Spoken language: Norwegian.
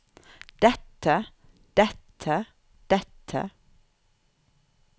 dette dette dette